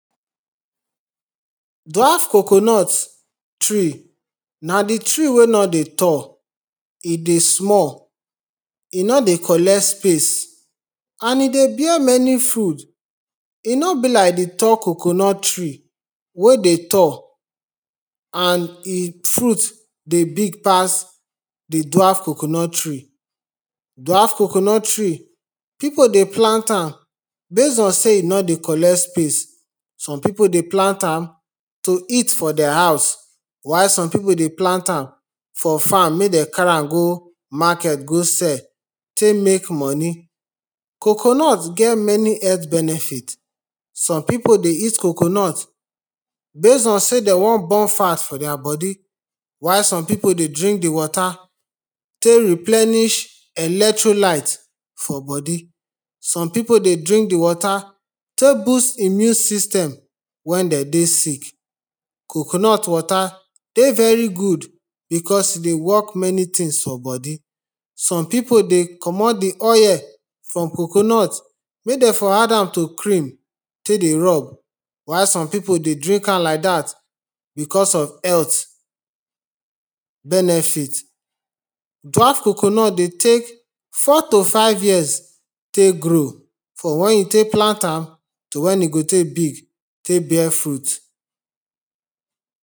Dwarf coconut tree na di tree wey no dey tall E dey small, e no dey collect space and e dey bear many food E no be like di tall coconut tree wey dey tall and e fruit dey big pass di dwarf coconut tree Dwarf coconut tree, pipo dey plant am base on sey e no dey collect space Some pipo dey plant am to eat from their house, while some pipo dey plant am for farm, make dem carry go market go sell take make money Coconut get many health benefit. Some pipo dey eat coconut base on sey dem wan burn fat for their body, while some pipo dey drink di water take replenish electrolyte for body Some pipo dey drink di water take boost di immune system wen dem dey sick. Coconut water dey very good becos e dey work many things for body. Some pipo dey comot di oil from coconut make dem for add am to cream, take dey rub while some pipo dey drink am like dat becos of health benefit. Dwarf coconut dey take four to five years take grow, from wen you take plant am to wen e go take big take bear fruit